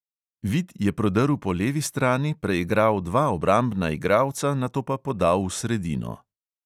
Vid je prodrl po levi strani, preigral dva obrambna igralca, nato pa podal v sredino.